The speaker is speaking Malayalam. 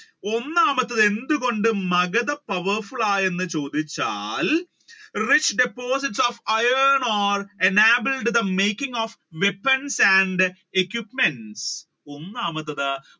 ഒന്നാമത്തത് എന്തുകൊണ്ട് മഗധ powerful ആയി എന്ന് ചോദിച്ചാൽ rich deposit of iron ore enabled the making of weapons and the equipments ഒന്നാമത്തത്